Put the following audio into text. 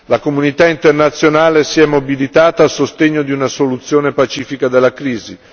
La comunità internazionale si è mobilitata a sostegno di una soluzione pacifica della crisi.